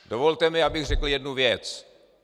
Dovolte mi, abych řekl jednu věc.